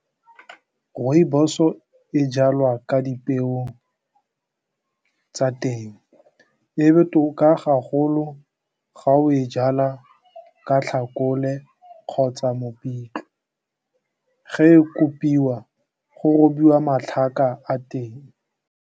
Rooibos-o e jalwa ka dipeo tsa teng e botoka ga golo ga o e jala ka tlhakole kgotsa mopitlwe ge e kopiwa go robiwa matlhaka a teng.